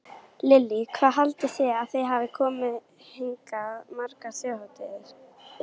Lillý: Hvað haldið þið að þið hafið komið hingað margar þjóðhátíðar?